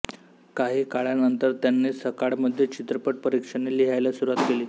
काही काळानंतर त्यांनी सकाळमध्ये चित्रपट परीक्षणे लिहायला सुरुवात केली